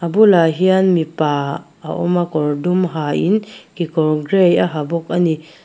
bulah hian mipa a awm a kawr dum ha in kekawr grey a ha bawk a ni.